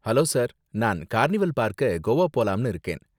Hello sir, நான் carnival பார்க்க கோவா போலாம்னு இருக்கேன்.